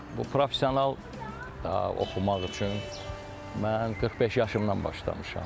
Bu professional oxumaq üçün mən 45 yaşımdan başlamışam.